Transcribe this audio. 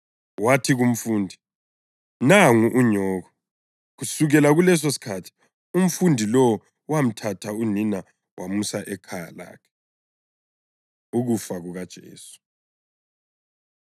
wathi kumfundi, “Nangu unyoko.” Kusukela kulesosikhathi umfundi lowo wamthatha unina wamusa ekhaya lakhe. Ukufa KukaJesu